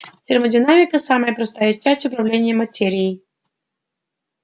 термодинамика самая простая часть управления материей